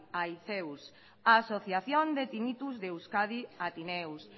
aiceus asociación de tinnitus de euskadi atinneus